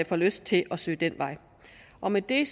får lyst til at søge den vej og med det